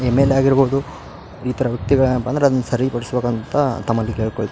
MLA ಆಗಿರ್ಬಹುದು ಇ ತರ ವ್ಯಕ್ತಿಗಳು ಬಂದ್ರೆ ಅದನ್ನ್ ಸರಿ ಪಡಿಸ್ಬೇಕಂತ ತಮ್ಮಲ್ಲಿ ಕೇಳ್ಕೊಳ್ತೀನಿ .